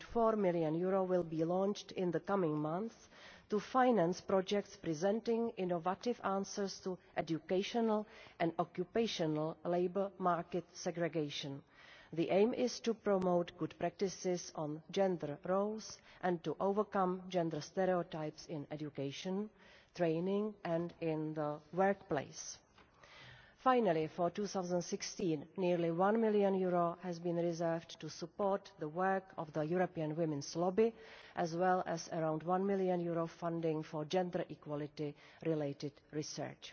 EUR 3.4 million will be launched in the coming months to finance projects presenting innovative answers to educational and occupational labour market segregation. The aim is to promote good practices on gender roles and to overcome gender stereotypes in education and training and in the workplace. Finally, for 2016, nearly EUR 1 million has been reserved to support the work of the European Women's Lobby as well as around EUR 1 million funding for gender equality related research.